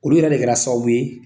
Olu yɛrɛ de kɛra sababu ye